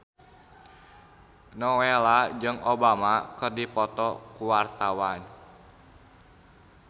Nowela jeung Obama keur dipoto ku wartawan